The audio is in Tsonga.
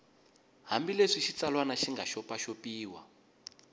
hambileswi xitsalwana xi nga xopaxopiwa